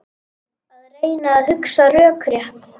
Að reyna að hugsa rökrétt